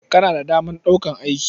Kana da damar ɗaukar aiki?